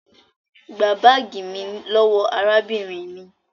gbà baagi mí lówó arábìnrin mí!